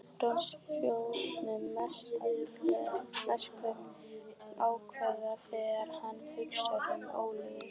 Bros Brynjólfs myrkvast aðeins þegar hann hugsar um Ólafíu.